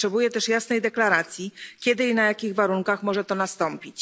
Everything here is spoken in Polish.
Potrzebuje też jasnej deklaracji, kiedy i na jakich warunkach może to nastąpić.